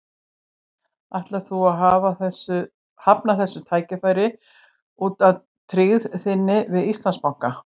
Ætlar þú að hafna þessu tækifæri út af tryggð þinni við Íslandsbanka?